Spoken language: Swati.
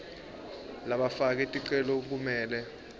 labafake ticelo kumele